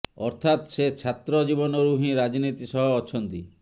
ଅର୍ଥାତ ସେ ଛାତ୍ର ଜୀବନରୁ ହିଁ ରାଜନୀତି ସହ ଅଛନ୍ତି